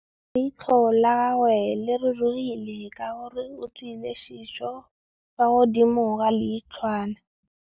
Leitlhô la gagwe le rurugile ka gore o tswile sisô fa godimo ga leitlhwana.